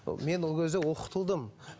мен ол кезде оқытылдым